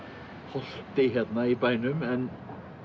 holti hérna í bænum en